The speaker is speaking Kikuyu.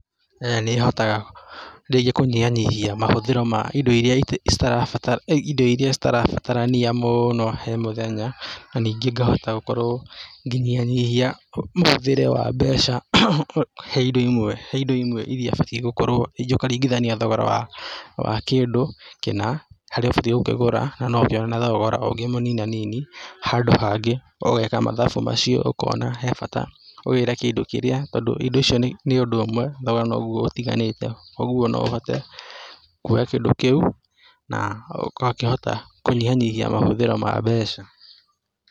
Nĩhotaga rĩngĩ kũnyihanyihia mahũthĩro ma indo iria cirabatarania indo iria citarabatarania mũno he mũthenya na ningĩ ngahota gũkorwo ngĩnyihanyihia mũhũthĩre wa mbeca he indo imwe , he indo imwe iria batie gũkorwo, rĩngĩ ũkaringithania thogora wa kĩndũ kĩna harĩa ũbatie gũkĩgũra na noũkĩone na thogora ungĩ mũnininanini handũ hangĩ, ũgeka mathabu macio ũkona he bata ũgĩĩre kĩndũ kĩĩrĩa tondũ indo icio nĩ ũndũ ũmwe thogora noguo ũtiganĩte kwoguo no ũhote kwoya kĩndũ kĩu na ũgakĩhota kũnyihanyihia mahũthĩro ma mbeca.